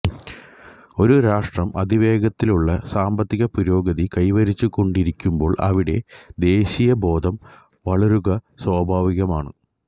ഒരു രാഷ്ട്രം അതിവേഗത്തിലുള്ള സാമ്പത്തിക പുരോഗതി കൈവരിച്ചുകൊണ്ടിരിക്കുമ്പോൾ അവിടെ ദേശീയബോധം വളരുക സ്വാഭാവികമാണ്